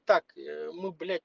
так э ну блять